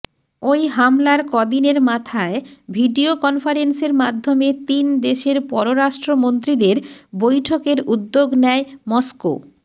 ওই হামলার কদিনের মাথায় ভিডিও কনফারেন্সের মাধ্যমে তিন দেশের পররাষ্ট্রমন্ত্রীদের বৈঠকের উদ্যোগ নেয় মস্কো